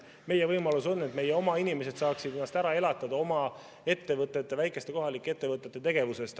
Meie võimalus on, et meie oma inimesed saaksid ennast ära elatada oma ettevõtete, väikeste kohalike ettevõtete tegevusest.